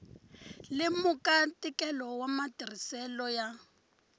lemuka ntikelo wa matirhiselo ya